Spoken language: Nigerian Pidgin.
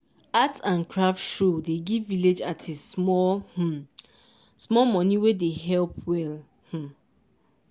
art and craft show dey give village artists small um small money wey dey help well. um